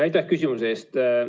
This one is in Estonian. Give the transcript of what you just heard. Aitäh küsimuse eest!